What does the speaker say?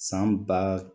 San ba